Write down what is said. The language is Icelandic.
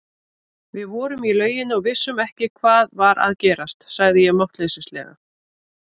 Við vorum í lauginni og vissum ekki hvað var að gerast, sagði ég máttleysislega.